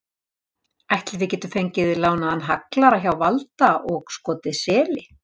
Ætli við getum fengið lánaðan haglara hjá Valda og skotið seli?